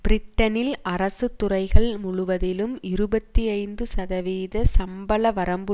பிரிட்டனில் அரசு துறைகள் முழுவதிலும் இருபத்தி ஐந்து சதவீத சம்பள வரம்பு